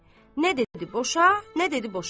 Nə dedi boşa, nə dedi boşama.